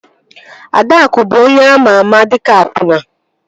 Adaakụ bụ onye ama ama dịka akwụna